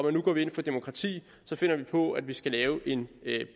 at vi går ind for demokrati finder på at vi skal lave en